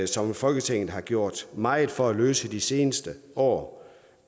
som folketinget har gjort meget for at løse i de seneste år